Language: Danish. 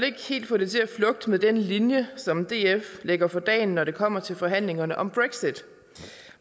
ikke helt få det til at flugte med den linje som df lægger for dagen når det kommer til forhandlingerne om brexit